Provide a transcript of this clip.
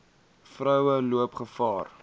vroue loop gevaar